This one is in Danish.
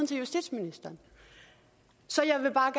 til justitsministeren så jeg vil bare